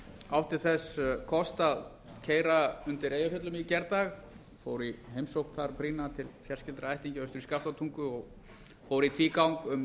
átti þess kost að keyra undir eyjafjöllum í gær fór í brýna heimsókn til fjarskyldra ættingja austur í skaftártungu og fór í tvígang um